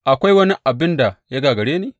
Akwai wani abin da ya gagare ni?